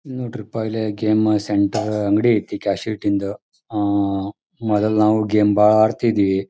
ಇಲ್ ನೋಡ್ರಿಪ್ಪ ಇಲ್ಲೆ ಗೇಮ್ ಸೆಂಟರ್ ಅಂಗಡಿ ಐತಿ ಕ್ಯಾಸೆಟ್ ಇಂದ ಆ ಮೋದ್ಲು ನಾವು ಗೇಮ್ ಭಾಳ ಆಡ್ತಿದ್ವಿ.